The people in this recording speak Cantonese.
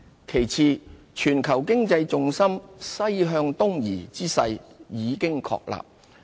其次，全球經濟重心"西向東移"之勢已經確立。